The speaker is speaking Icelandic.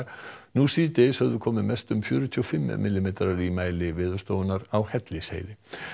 nú síðdegis höfðu komið mest um fjörutíu og fimm millimetrar í mæli Veðurstofunnar á Hellisheiði